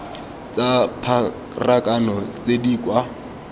tsa pharakano tse di kwa